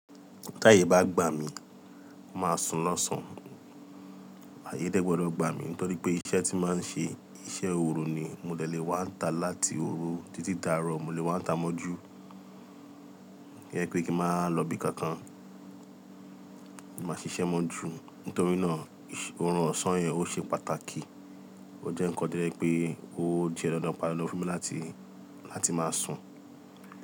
Tí ààyè bá gbà mí, mo màá sùn l'ọ̀sán. Ààyè dẹ́ gbọ́dọ̀ gbà mí nítorí pé iṣẹ́ tí màá ń ṣe, iṣẹ́ òru ni. Mo dẹ̀ lé wá ń ta láti òru títí dáàrọ̀ mo lè wá ń ta mọ́ jú. Jẹ́ pé kí màá lọ ibi kankan, màá ṣiṣẹ́ mọ́ jú. Nítorí náà, orun ọ̀sán yẹn ó ṣe pàtàkì. Ó jẹ́ nǹkan tó jẹ́ wípé ó jẹ́ dandan padà lọ fún mi láti, láti máa sùn.